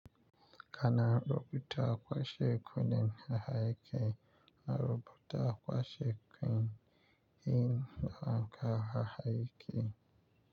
Kana rubuta kwashe kunne da hayaki, na rubuta kwashe kunne in da haka hayaki.